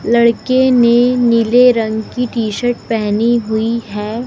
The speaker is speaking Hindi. लड़के ने नीले रंग की टी शर्ट पहनी हुई है।